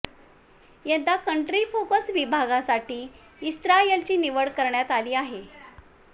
यंदा country focus विभागासाठी इस्रायलची निवड करण्यात आली आहे